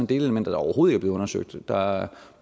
delelementer der overhovedet ikke undersøgt der er